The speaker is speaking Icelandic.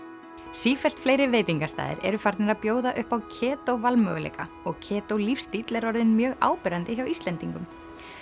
sífellt fleiri veitingastaðir eru farnir að bjóða upp á valmöguleika og lífstíll er orðinn mjög áberandi hjá Íslendingum